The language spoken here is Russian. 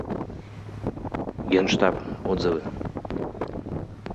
генштаб отзывы